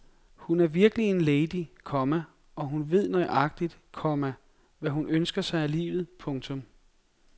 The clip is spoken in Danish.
Hun er virkelig en lady, komma og hun ved nøjagtig, komma hvad hun ønsker sig af livet. punktum